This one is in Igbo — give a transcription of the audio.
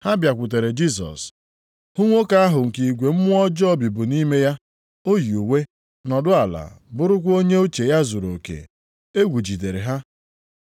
Ha bịakwutere Jisọs, hụ nwoke ahụ nke igwe mmụọ ọjọọ bibu nʼime ya. O yi uwe, nọdụ ala, bụrụkwa onye uche ya zuruoke; egwu jidere ha.